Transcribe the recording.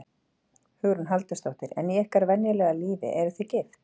Hugrún Halldórsdóttir: En í ykkar venjulega lífi, eruð þið gift?